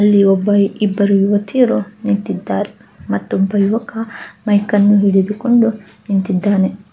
ಅಲ್ಲಿ ಒಬ್ಬ ಇಬ್ಬರು ಯುವತಿಯರು ನಿಂತಿದ್ದಾರೆ ಮತ್ತೊಬ್ಬ ಯುವಕ ಮೈಕ್ ನ್ನೂಹಿಡಿದುಕೊಂಡು ನಿಂತಿದ್ದಾನೆ.